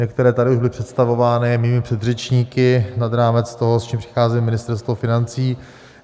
Některé tady už byly představovány mými předřečníky, nad rámec toho, s čím přichází Ministerstvo financí.